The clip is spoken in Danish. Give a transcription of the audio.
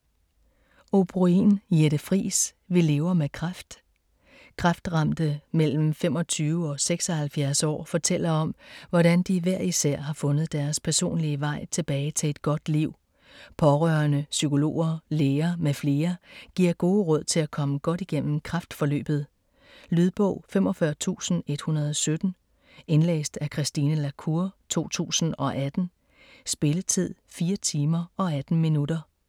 O'Brôin, Jette Friis: Vi lever med kræft Kræftramte mellem 25 og 76 år fortæller om, hvordan de hver især har fundet deres personlige vej tilbage til et godt liv. Pårørende, psykologer, læger m.fl. giver gode råd til at komme godt igennem kræftforløbet. Lydbog 45117 Indlæst af Christine la Cour, 2018. Spilletid: 4 timer, 18 minutter.